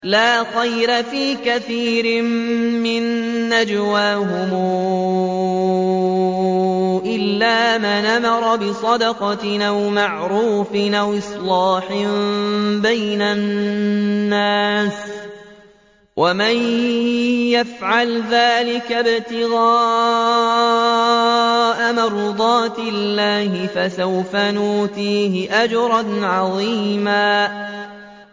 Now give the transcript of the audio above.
۞ لَّا خَيْرَ فِي كَثِيرٍ مِّن نَّجْوَاهُمْ إِلَّا مَنْ أَمَرَ بِصَدَقَةٍ أَوْ مَعْرُوفٍ أَوْ إِصْلَاحٍ بَيْنَ النَّاسِ ۚ وَمَن يَفْعَلْ ذَٰلِكَ ابْتِغَاءَ مَرْضَاتِ اللَّهِ فَسَوْفَ نُؤْتِيهِ أَجْرًا عَظِيمًا